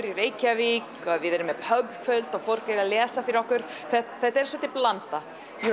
í Reykjavík og við erum með kvöld og fólk er að lesa fyrir okkur þetta er svolítil blanda hér